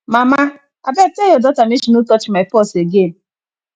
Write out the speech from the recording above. mama abeg tell your daughter make she no touch my purse again